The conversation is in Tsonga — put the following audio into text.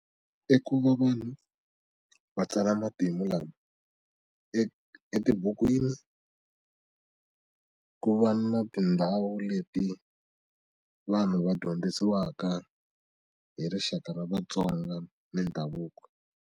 I ku va vanhu va tsala matimu lama e etibukwini ku va na tindhawu leti vanhu va dyondzisiwaka hi rixaka ra vatsonga ni ndhavuko.